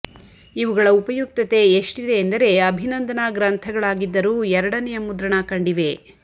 ಇವುಗಳ ಉಪಯುಕ್ತತೆ ಎಷ್ಟಿದೆ ಎಂದರೆ ಅಭಿನಂದನಾ ಗ್ರಂಥಗಳಾಗಿದ್ದರೂ ಎರಡನೆಯ ಮುದ್ರಣ ಕಂಡಿವೆ